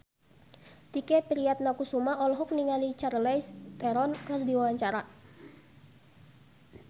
Tike Priatnakusuma olohok ningali Charlize Theron keur diwawancara